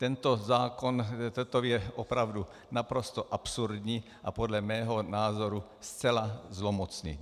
Tento zákon je opravdu naprosto absurdní a podle mého názoru zcela zlomocný.